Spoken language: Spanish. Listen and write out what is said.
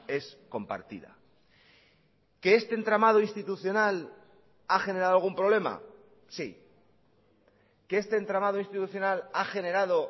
es compartida que este entramado institucional ha generado algún problema sí que este entramado institucional ha generado